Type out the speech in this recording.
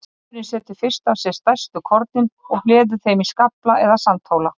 Vindurinn setur fyrst af sér stærstu kornin og hleður þeim í skafla eða sandhóla.